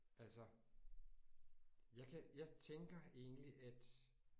Altså jeg kan jeg tænker egentlig at